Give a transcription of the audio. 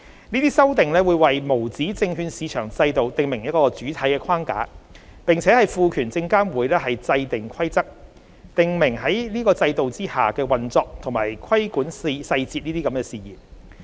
這些修訂會為無紙證券市場制度訂明主體框架，並賦權證監會制訂規則，訂明在該制度下的運作及規管細節事宜。